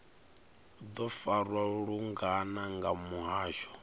do farwa lungana nga muhasho